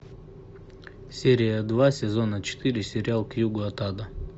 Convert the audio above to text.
серия два сезона четыре сериал к югу от ада